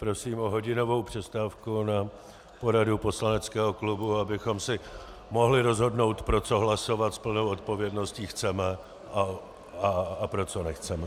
Prosím o hodinovou přestávku na poradu poslaneckého klubu, abychom si mohli rozhodnout, pro co hlasovat s plnou odpovědností chceme a pro co nechceme.